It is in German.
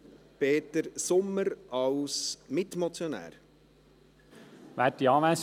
Peter Sommer hat als Mitmotionär das Wort.